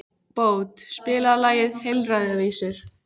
Bót, spilaðu lagið „Heilræðavísur“.